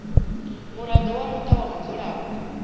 muraḓo wa muṱa wa mudzulapo